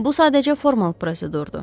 Bu sadəcə formal prosedurdur.